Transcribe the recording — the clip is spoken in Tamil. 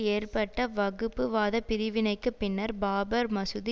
ஏற்பட்ட வகுப்புவாத பிரிவினைக்கு பின்னர் பாபர் மசூதி